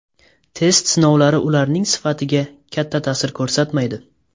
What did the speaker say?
Test sinovlari ularning sifatiga katta ta’sir ko‘rsatmaydi.